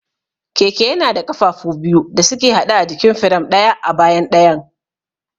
Keke yana da ƙafafu biyu da suke haɗe a jikin firam, ɗaya a bayan ɗayan.